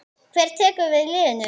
Hver tekur við liðinu?